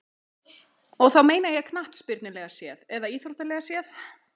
Og þá meina ég knattspyrnulega séð eða íþróttalega séð?